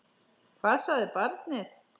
Hvað sagði barnið?